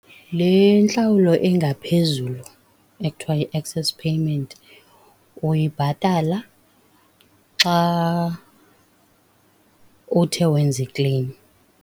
Le ntlawulo engaphezulu ekuthiwa yi-excess payment uyibhatala xa uthe wenza i-claim.